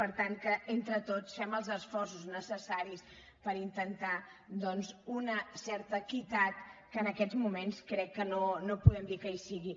per tant que entre tots fem els esforços necessaris per intentar doncs una certa equitat que en aquests moments crec que no podem dir que hi sigui